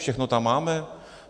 Všechno tam máme?